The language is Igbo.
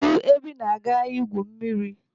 Kedụ ebe ị na-aga igwu mmiri?